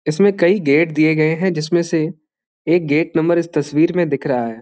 इसमें कई गेट दिए गए हैं जिसमें से एक गेट नंबर इस तस्वीर में दिख रहा है।